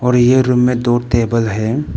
ये रूम में दो टेबल है।